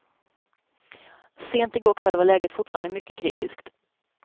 Sent i går kväll var läget fortfarande mycket kritiskt.